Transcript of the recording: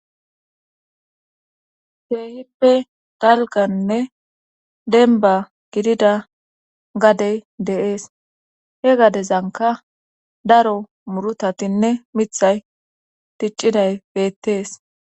Keehippe dalgannne denba gidida gadey deees he gadezanka daro murutatinne mithay dicciday beettees